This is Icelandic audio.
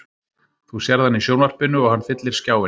Þú sérð hann í sjónvarpinu og hann fyllir skjáinn.